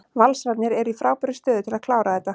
Valsararnir eru í frábærri stöðu til að klára þetta.